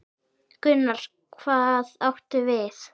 Gunnar: Hvað áttu við?